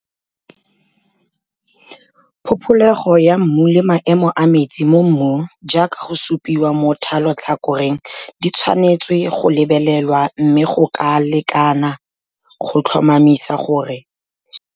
Phopholego ya mmu le maemo a metsi mo mmung jaaka go supiwa mo thalotlhakoreng di tshwanetswe go lebelelwa mme go ka lekwa go tlhomamisa gore go na le metsi a makana kang mo mmung e bile dijalo tse di tlilweng go jalwa di tla tlhoka metsi a makana kang.